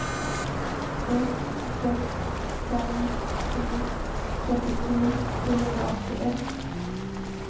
ett sex fem sju trettiotre trehundraåttioett